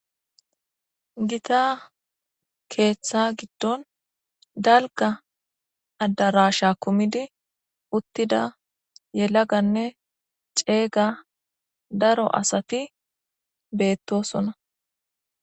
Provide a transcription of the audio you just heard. Gita keetha gidon dalgga adarasha kumidi uttida yalaganne ceega daro asati beetosona.